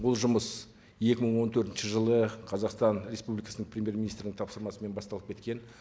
бұл жұмыс екі мың он төртінші жылы қазақстан республикасының премьер министрінің тапсырмасымен басталып кеткен